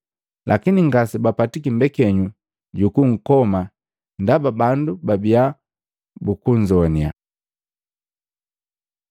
lakini ngase bapatiki mbekenyu jukunkoma ndaba bandu babiya bukunzoaniya.